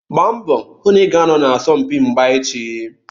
Gbaa mbọ hụ na ị ga-anọ na asọmpi mgba echi.